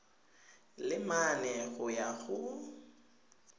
le mane go ya go